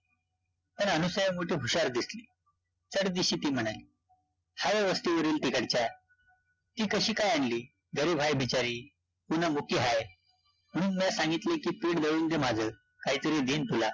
तर अनुसूया मोठी हुशार दिसली, चटदिशी ती म्हणाली, हाय वस्तीवरील तिकडच्या, ती कशी काय आणली? गरीब हाय बिचारी पुन्हा मुकी हाय म्हणून म्या सांगितले की पिठं दळून दे माझं, काहीतरी देईन तुला